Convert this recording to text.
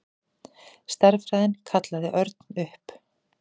Stærðfræðin kallaði Örn upp.